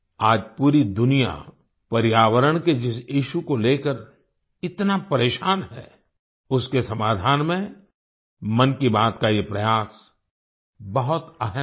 आज पूरी दुनिया पर्यावरण के जिस इश्यू को लेकर इतना परेशान है उसके समाधान में मन की बात का ये प्रयास बहुत अहम है